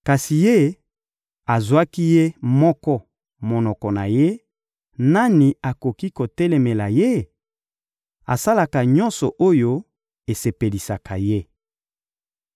Kasi Ye, azwaka Ye moko mokano na Ye; nani akoki kotelemela Ye? Asalaka nyonso oyo esepelisaka Ye.